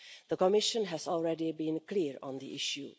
The Commission has already been clear on the issue.